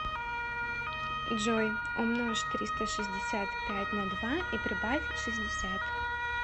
джой умножь триста шестьдесят пять на два и прибавь шестьдесят